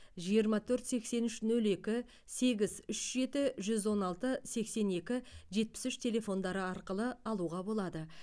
жиырма төрт сексен үш нөл екі сегіз үш жеті жүз он алты сексен екі жетпіс үш телефондары арқылы алуға болады